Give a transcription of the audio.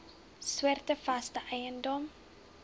soorte vaste eiendom